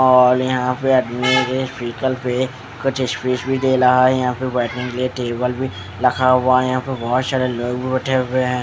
और यहाँ पे अभी मेरे वीइकल पे कुछ स्पेस भी दे रहा है यहाँ पर बैठने के लिए टेबल भी रखा हुआ है यहाँ पर बहुत सारे लोंग भी बैठे हुए है ।